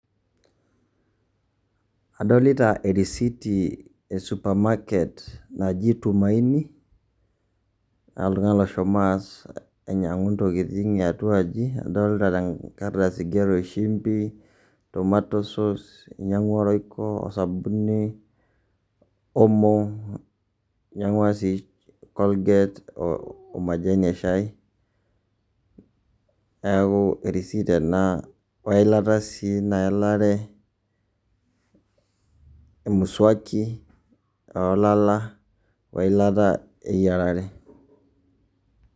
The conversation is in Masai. Adolita erisiti e supermarket naji Tumain i,keeta oltung'ani loshomo aas ainyang'u intokiting' eatua aji, adolta tenkardasi igero shumbi, tomato sauce, inyang'ua royko osabuni, omo, inyang'ua si Colgate omajani eshai, neeku erisit ena, weilata si naelare, emusuaki olala, weilata eyiarare.